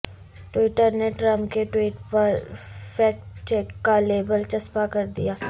Twitter نے Trump کے tweet پر فیکٹ چیک کا لیبل چسپاں کر دیا